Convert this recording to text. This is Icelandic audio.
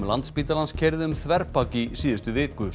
Landspítalans keyrði um þverbak í síðustu viku